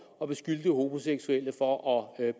og beskyldt homoseksuelle for at